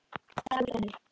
Dagur rennur.